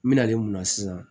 N mena mun na sisan